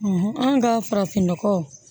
an ka farafinnɔgɔ